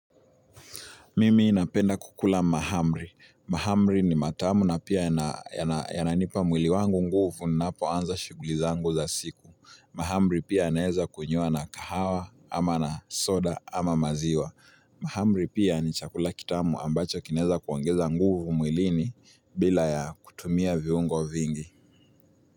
Mimi napenda kukula mahamri. Mahamri ni matamu na pia yananipa mwili wangu nguvu ninapoanza shighuli zangu za siku. Mahamri pia yanaweza kunyiwa na kahawa ama na soda ama maziwa. Mahamri pia ni chakula kitamu ambacho kinaweza kuongeza mwilini bila ya kutumia viungo vingi.